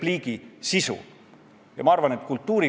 Ilmar Tomuski nime on siit puldist täna mitmel puhul nimetatud.